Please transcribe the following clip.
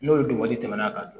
N'olu wari tɛmɛna ka don